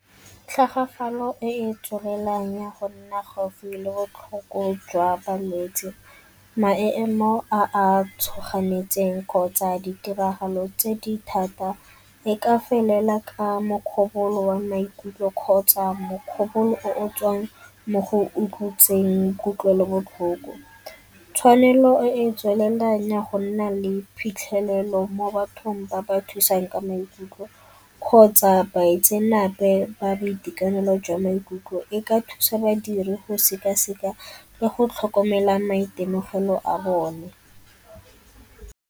Tlhagafalo e e tswelelang ya go nna gaufi le botlhoko jwa balwetsi, a a tshoganetseng kgotsa ditiragalo tse di thata e ka felela ka wa maikutlo kgotsa o o tswang mo go kutlwelobotlhoko. Tshwanelo e e tswelelang ya go nna le phitlhelelo mo bathong ba ba thusang ka maikutlo kgotsa baitsenape ba boitekanelo jwa maikutlo e ka thusa badiri go sekaseka le go tlhokomela maitemogelo a bone.